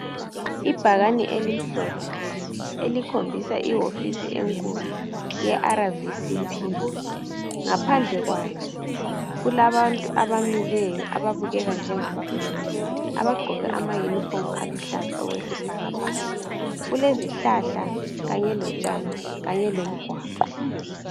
Ibhakane elimhlophe elikhombisa ehofisi enkulu yeRVCP. Ngaphandle kwayo kulabantu abamileyo ababukeka njengabafundi abagqoke amayunifomu aluhlaza njengesibhakabhaka. Kulezihlahla kanye lotshani kanye lomgwaqo.